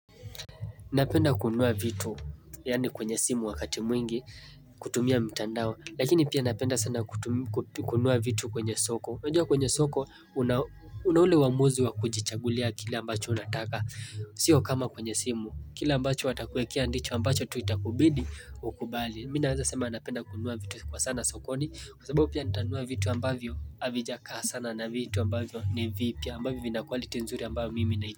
Napenda kununua vitu, yaani kwenye simu wakati mwingi, kutumia mtandao, lakini pia napenda sana kununua vitu kwenye soko. Wajua kwenye soko, una ule uwamuzi wa kujichagulia kile ambacho unataka, sio kama kwenye simu, kile ambacho watakuwekea ndicho ambacho tu itakubidi, ukubali. Mimi nawezasema napenda kununua vitu kwa sana sokoni, kwa sababu pia nitanunua vitu ambavyo, havijakaa sana na vitu ambavyo ni vipya ambavyo vina quality nzuri ambavyo mimi nai.